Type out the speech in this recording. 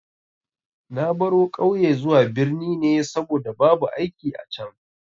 Na baro ƙauye zuwa birni ne saboda babu aiki a can.